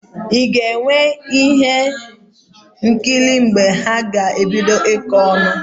Ị ga-enwe ihe nkiri mgbe ha ga-ebido ịkọ ọnụ